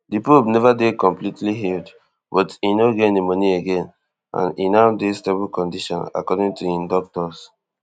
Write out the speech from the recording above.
di pope neva dey completely healed but e no get pneumonia again and e now dey stable condition according to im doctors